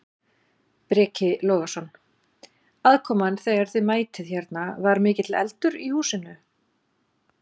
Breki Logason: Aðkoman þegar að þið mætið hérna, var mikill eldur í húsinu?